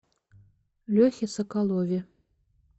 лехе соколове